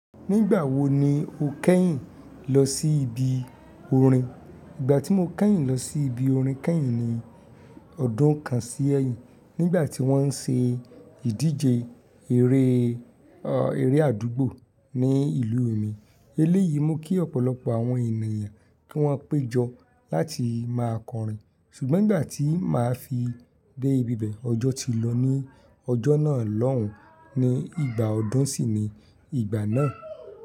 Nígbà wo ni o kẹ́yìn lọ sí ibi orin? Ìgbà tí mo kẹ́yìn lọ sí ibi orin kẹ́yìn ni ọdún kan sí ẹyin nígbà tí wọ́n ń ṣe ìdíje eré, eré àdúgbò ní ìlú mi. Eléyìí mú kí ọ̀pọ̀lọpọ̀ àwọn ènìyàn kí wọ́n péjọ láti máa kọrin ṣùgbọ́n ìgbà tí máa fi dé ibi bẹ̀ ọjọ́ ti lọ ní ọjọ́ náà lọ́hùn ni ìgbà ọdún sì ni ìgbà náà.